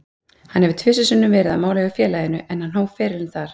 Hann hefur tvisvar sinnum verið á mála hjá félaginu, en hann hóf ferilinn þar.